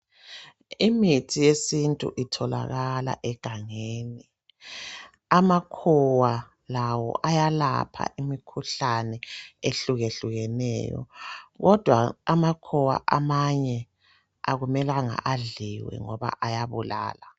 Imithi yesintu itholakala egangeni, amakhowa lawo ayalapha imikhuhlane ehlukehlukeneyo kodwa amakhowa amanye akumelanga adliwe ngoba ayabulala.